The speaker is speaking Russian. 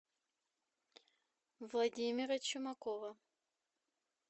владимира чумакова